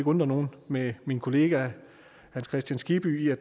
undre nogen med min kollega herre hans kristian skibby i at